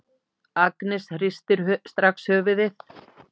Agnes hristir strax höfuðið.